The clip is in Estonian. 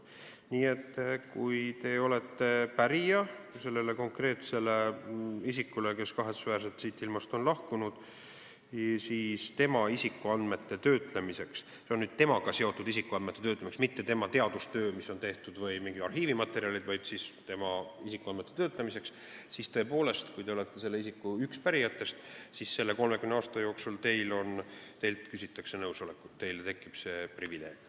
Nii et kui te olete selle konkreetse isiku pärija, kes kahetsusväärselt siit ilmast on lahkunud, siis 30 aasta jooksul küsitakse tema isikuandmete töötlemiseks – peetakse silmas temaga seotud isikuandmeid, mitte tema teadustööd või mingeid arhiivimaterjale – teie nõusolekut, teil tekib see privileeg.